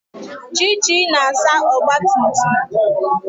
Chichi na-asa ogbatumtum